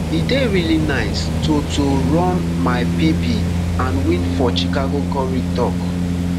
e dey really nice to to run my pb and win for chicago korir tok